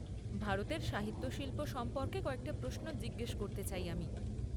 ভারতের সাহিত্য শিল্প সম্পর্কে কয়েকটা প্রশ্ন জিজ্ঞেস করতে চাই আমি।